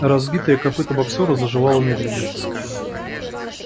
разбитое копыто боксёра заживало медленно